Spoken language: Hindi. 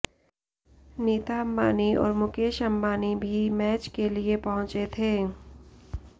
नीता अंबानी और मुकेश अंबानी भी मैच के लिए पहुंचे थे